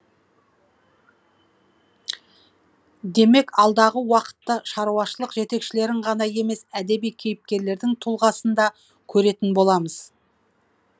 демек алдағы уақытта шаруашылық жетекшілерін ғана емес әдеби кейіпкерлердің тұлғасын да көретін боламыз